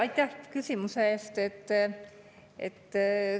Aitäh küsimuse eest!